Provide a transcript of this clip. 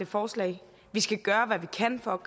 forslag vi skal gøre hvad vi kan for